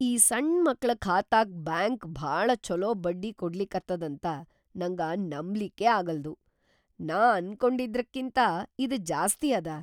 ಈ ಸಣ್‌ ಮಕ್ಳ ಖಾತಾಕ್‌ ಬ್ಯಾಂಕ್ ಭಾಳ ಛೊಲೊ ಬಡ್ಡಿ ಕೊಡ್ಲಿಕತ್ತದಂತ ನಂಗ ನಂಬ್ಲಿಕ್ಕೇ ಆಗಲ್ದು! ನಾ ಅನ್ಕೊಂಡಿದ್ರಕಿಂತಾ ಇದ್‌ ಜಾಸ್ತಿ ಅದ!